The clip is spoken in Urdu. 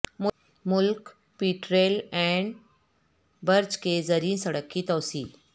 Malik pet rail and bridge کے زیریں سڑک کی توسیع